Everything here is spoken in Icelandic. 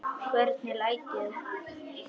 Hvernig læt ég.